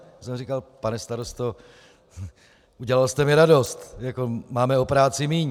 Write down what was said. Já jsem říkal: "Pane starosto, udělal jste mi radost, máme o práci míň."